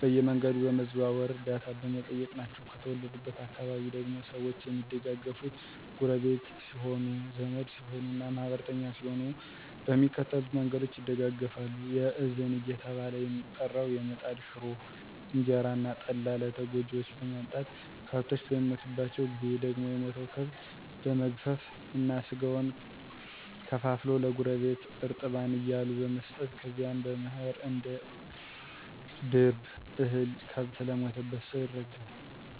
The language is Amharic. በየመንገዱ በመዘዋወር ዕርደታ በመጠየቅ ናቸው። ከተወለድኩበት አካባቢ ደግሞ ሰዎች የሚደጋገፋት ጎረቢት ሲሆኑ፣ ዘመድ ሲሆኑ እና ማህበርተኛ ሲሆኑ በሚከተሉት መንገዶች ይደጋገፋሉ። የእዝን እየተባለ የሚጠራው የምጣድ ሽሮ፣ እንጀራ እና ጠላ ለተጎጅዎች በማምጣት፤ ከብቶች በሚሞቱባቸው ጊዜ ደግሞ የሞተውን ከብት በመግፈፍ እና ስጋውን ከፋፍሎ ለጎረቢት እርጥባን እያሉ በመስጠት ከዚያም በመኸር አንድ አንድ ድርብ እህል ከብት ለሞተበት ሰው ይረዳል።